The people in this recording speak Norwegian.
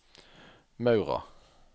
Maura